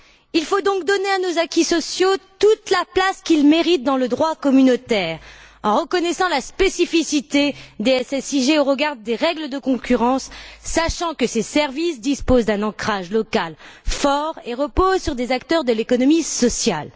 Il faut donc donner à nos acquis sociaux toute la place qu'ils méritent dans le droit communautaire en reconnaissant la spécificité des SSIG au regard des règles de concurrence, sachant que ces services disposent d'un ancrage local fort et reposent sur des acteurs de l'économie sociale.